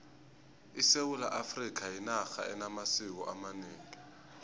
isewula afrikha yinarha enamasiko amanengi